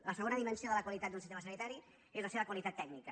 la segona dimensió de la qualitat d’un sistema sanitari és la seva qualitat tècnica